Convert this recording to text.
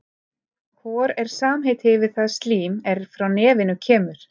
Hor er samheiti yfir það slím er frá nefinu kemur.